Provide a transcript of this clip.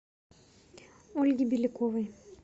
ольги беляковой